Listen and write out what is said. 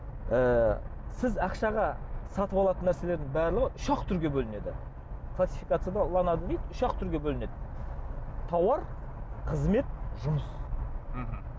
ы сіз ақшаға сатып алатын нәрселердің барлығы үш ақ түрге бөлінеді классификацияда үш ақ түрге бөлінеді тауар қызмет жұмыс мхм